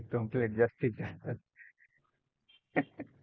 दोन plate जास्तीत जास्त